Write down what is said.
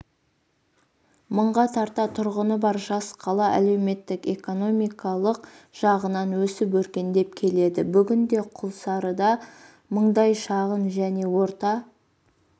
мыңға тарта тұрғыны бар жас қала әлеуметтік-экономикалық жағынан өсіп-өркендеп келеді бүгінде құлсарыда мыңдай шағын және орта